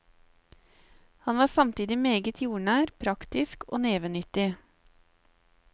Han var samtidig meget jordnær, praktisk og nevenyttig.